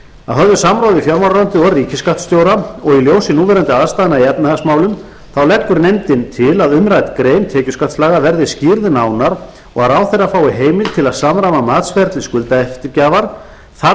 að höfðu samráði við fjármálaráðuneyti og ríkisskattstjóra og í ljósi núverandi aðstæðna í efnahagsmálum leggur nefndin til að umrædd grein tekjuskattslaga verði skýrð nánar og að ráðherra fái heimild til að samræma matsferli skuldaeftirgjafar þar